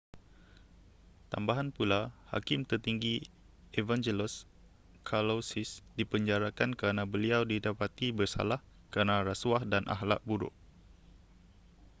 tambahan pula hakim tertinggi evangelos kalousis dipenjarakan kerana beliau didapati bersalah kerana rasuah dan akhlak buruk